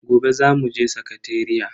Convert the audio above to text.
Gobe zamu je sakateriya.